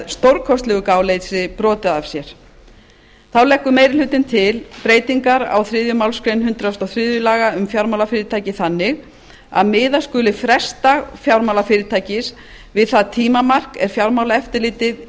stórkostlegu gáleysi brotið af sér þá leggur meiri hlutinn til breytingar á þriðju málsgrein hundrað þrítugasta og þriðja laga um fjármálafyrirtæki þannig að miða skuli fresta fjármálafyrirtækis við það tímamark er fjármálaeftirlitið